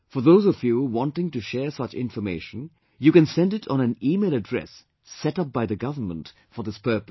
For those of you wanting to share such information, you can send it on an email address set up by the government for this purpose